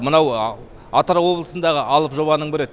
мынау атырау облысындағы алып жобаның бірі